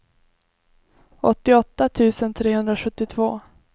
åttioåtta tusen trehundrasjuttiotvå